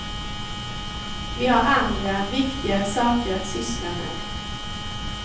Vi har andra, viktigare saker att syssla med.